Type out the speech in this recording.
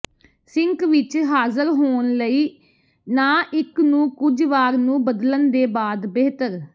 sink ਵਿਚ ਹਾਜ਼ਰ ਹੋਣ ਲਈ ਨਾ ਇੱਕ ਨੂੰ ਕੁਝ ਵਾਰ ਨੂੰ ਬਦਲਣ ਦੇ ਬਾਅਦ ਬਿਹਤਰ